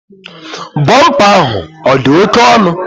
Bumper ahụ odi oke onụ?